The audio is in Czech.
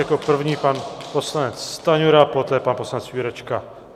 Jako první pan poslanec Stanjura, poté pan poslanec Jurečka.